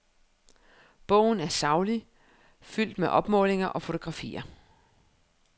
Bogen er saglig, fuldt med opmålinger og fotografier.